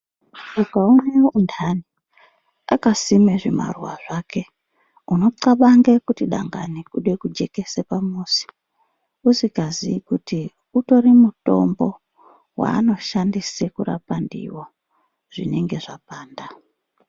Ukaone untani akasime zvimaruwa zvake, unoxabange kuti dangani kude kujekese pamuzi, usikazii kuti utori mutombo waanoshandise kurapa ndiwo zvinenge zvapanda.